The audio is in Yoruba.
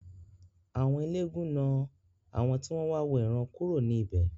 Àwọn eléégún náà àwọn tí wọ́n wà wo ìran kúrò ní ibè.